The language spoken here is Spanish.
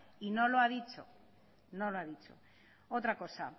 y no lo ha dicho no lo ha dicho otra cosa